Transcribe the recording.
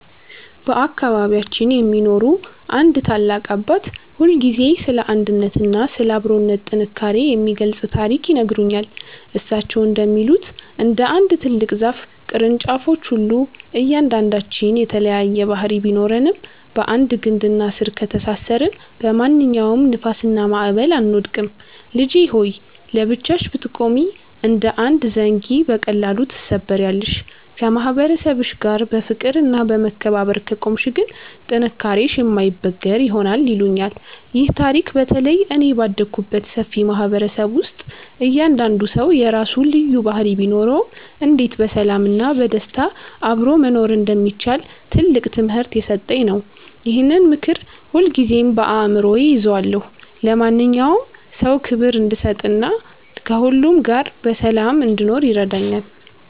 በአካባቢያችን የሚኖሩ አንድ ታላቅ አባት ሁልጊዜ ስለ አንድነትና ስለ አብሮነት ጥንካሬ የሚገልጽ ታሪክ ይነግሩኛል። እሳቸው እንደሚሉት፣ እንደ አንድ ትልቅ ዛፍ ቅርንጫፎች ሁሉ እያንዳንዳችን የተለያየ ባህሪ ቢኖረንም፣ በአንድ ግንድና ስር ከተሳሰርን በማንኛውም ንፋስና ማዕበል አንወድቅም። "ልጄ ሆይ! ለብቻሽ ብትቆሚ እንደ አንድ ዘንጊ በቀላሉ ትሰበሪያለሽ፤ ከማህበረሰብሽ ጋር በፍቅርና በመከባበር ከቆምሽ ግን ጥንካሬሽ የማይበገር ይሆናል" ይሉኛል። ይህ ታሪክ በተለይ እኔ ባደግኩበት ሰፊ ማህበረሰብ ውስጥ እያንዳንዱ ሰው የራሱ ልዩ ባህሪ ቢኖረውም፣ እንዴት በሰላምና በደስታ አብሮ መኖር እንደሚቻል ትልቅ ትምህርት የሰጠኝ ነው። ይህንን ምክር ሁልጊዜም በአእምሮዬ እይዘዋለሁ፤ ለማንኛውም ሰው ክብር እንድሰጥና ከሁሉ ጋር በሰላም እንድኖርም ይረዳኛል።